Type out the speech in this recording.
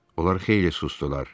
Onlar xeyli susdular.